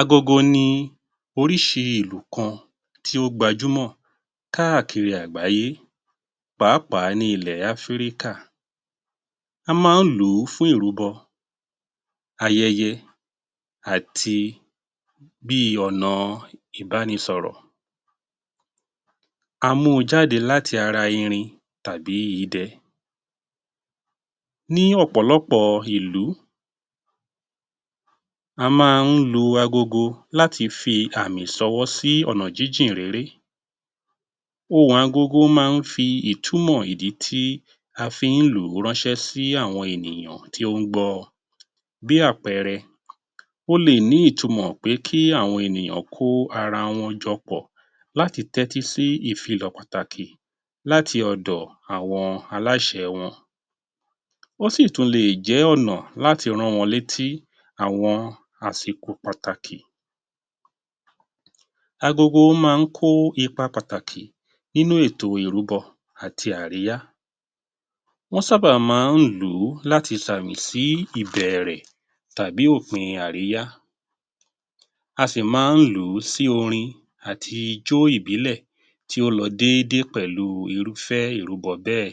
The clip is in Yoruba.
Agogo ni orísi ìlù kan tí ó gbajúmọ̀ káàkiri àgbáyé, pàápàá ní ilẹ̀ Áfíríkà. A máa ń lò ó fún ìrúbọ, ayẹyẹ àti bí ọ̀nà ìbánisọ̀rọ̀. A mú u jáde láti ara irin tàbí idẹ. Ní ọ̀pọ̀lọpọ̀ ìlú, a máa ń lu agogo láti fi àmì ṣọwọ́ sí ọ̀nà jíjìnréré. Ohùn agogo máa ń fi ìtumọ̀ ìdí tí a fi ń lù ú rán ṣé sí àwọn ènìyàn tí ó ń gbọ ọ. Bí àpẹẹrẹ: ó lè ní ìtumò pé kí àwọn ènìyàn kó ara wọn jọ pọ̀ láti tẹ́tí sí ìfilọ̀ pàtàkì láti ọ̀dọ̀ àwọn aláṣẹ wọn. Ó sì tún lè jẹ́ ọ̀nà láti rán wọn létí àwọn àsìkò pàtàkì. Agogo máa ń kó ipa pàtàkì nínú ètò ìrúbọ àti àríyá. Wọ́n sábà máa ń lò ó láti sàmì sí ìbẹ̀rẹ̀ tàbí òpin àríyá. A sì máa ń lò ó sí orin àti ijó ìbílẹ̀ tí ó lọ dédé pẹ̀lú irúfẹ́ ìrúbọ bẹ́ẹ̀.